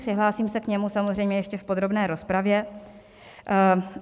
Přihlásím se k němu samozřejmě ještě v podrobné rozpravě.